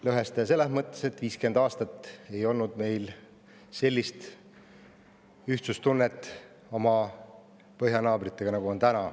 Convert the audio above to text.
Lõhestaja selles mõttes, et 50 aastat ei olnud meil sellist ühtsustunnet oma põhjanaabritega, nagu on nüüd.